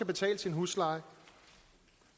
betale sin husleje